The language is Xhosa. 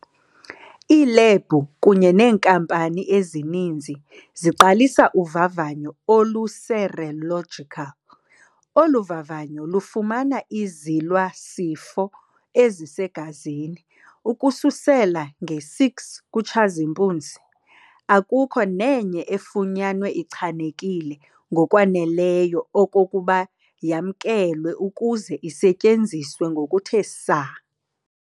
iiLebhu kunye nenkampani ezininzi ziqalisa uvavanyo olu-serological, oluvavanyo lufumana izilwa-sifo ezisegazini. Ukusukela nge6 kuTshazimpunzi, akukho nenye efunyanwe ichanekile ngokwaneleyo okokuba yamkelwe ukuze isetyenziswe ngokuthe saa.